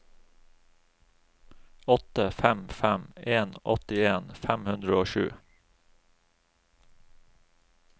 åtte fem fem en åttien fem hundre og sju